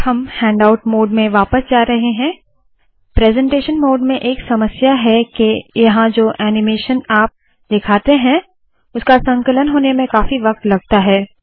अब हम handout mode में वापस जा रहे है प्रेसेंटेशन मोड में एक समस्या है के यहाँ जो ऐनीमेशन आप दिखाते है उसका संकलन होने में काफी वक्त लगता है